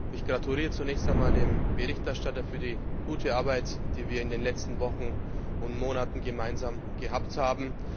Ich gratuliere zunächst einmal dem Berichterstatter zu der guten Arbeit, die wir in den letzten Wochen und Monaten gemeinsam gemacht haben.